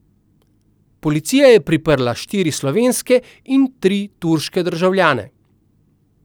Policija je priprla štiri slovenske in tri turške državljane.